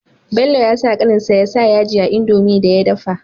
Bello yasa kanin sa ya sa yaji a indomie da ya dafa